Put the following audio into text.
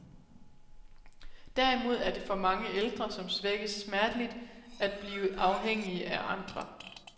Derimod er det for mange ældre, som svækkes smerteligt, at blive afhængige af andre.